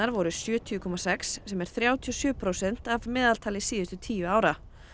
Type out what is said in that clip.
voru sjötíu komma sex sem er þrjátíu og sjö prósent að meðaltali síðustu tíu ára